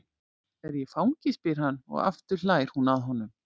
Er ég fangi? spyr hann, og aftur hlær hún að honum.